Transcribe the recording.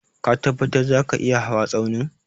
Ka tabbatar zaka iya hawa Tsaunin?